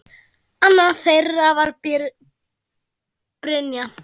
Annað þeirra var Brynja.